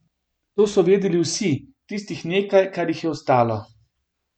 To so vedeli vsi, tistih nekaj, kar jih je ostalo.